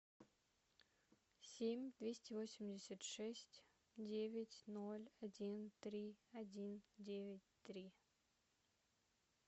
семь двести восемьдесят шесть девять ноль один три один девять три